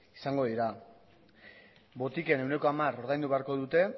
izango dira botiken ehuneko hamar ordaindu beharko dute